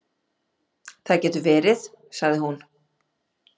Það getur verið, sagði hún.